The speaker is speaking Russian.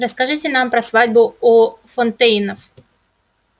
расскажите нам про свадьбу у фонтейнов